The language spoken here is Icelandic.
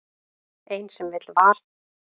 Ein sem vill val.